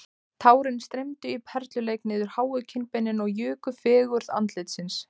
Tárin streymdu í perluleik niður háu kinnbeinin og juku fegurð andlitsins